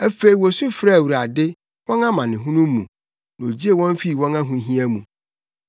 Afei wosu frɛɛ Awurade, wɔn amanehunu mu na ogyee wɔn fii wɔn ahohia mu.